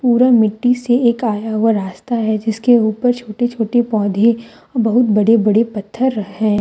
पूरा मिट्टी से एक आया हुआ रास्ता है जिसके ऊपर छोटे छोटे पौधे बहुत बड़े बड़े पत्थर है।